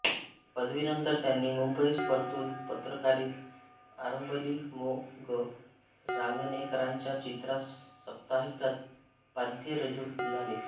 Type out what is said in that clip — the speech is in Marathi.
पदवीनंतर त्यांनी मुंबईस परतून पत्रकारिता आरंभली मो ग रांगणेकरांच्या चित्रा साप्ताहिकात पाध्ये रुजू झाले